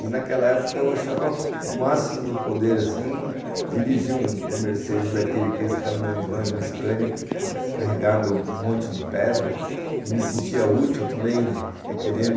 E naquela época eu achava o máximo do poder dirigir um um Mercedes daquele, aqueles caminhãozões no Scania, carregando um monte de pedra, e me sentia útil também querendo